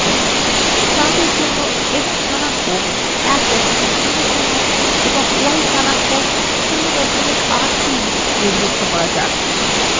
chart এর জন্য X স্থানাঙ্ক 100 এবং ওয়াই স্থানাঙ্ক 083 নির্ধারণ করা যাক